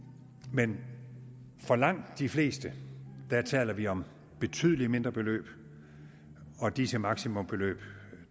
men for langt de fleste taler vi om betydelig mindre beløb og disse maksimumbeløb